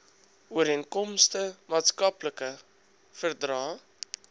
ooreenkomste maatskaplike verdrae